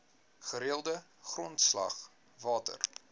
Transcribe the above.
gereelde grondslag water